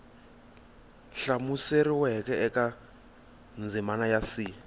hlamuseriweke eka ndzimana ya c